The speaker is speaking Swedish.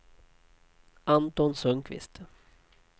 Anton Sundkvist